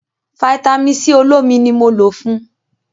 Vitamin-c olómi ni mo lò fun.